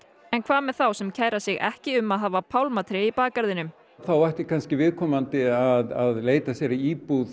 en hvað með þá sem kæra sig ekki um að hafa pálmatré í bakgarðinum þá ætti kannski viðkomandi að leita sér að íbúð